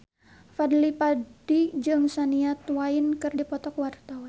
Fadly Padi jeung Shania Twain keur dipoto ku wartawan